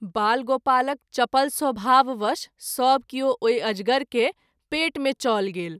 बाल गोपालक चपल स्वभाव वश सभ किओ ओहि अजगर के पेट मे चल गेल।